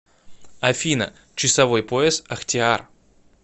афина часовой пояс ахтиар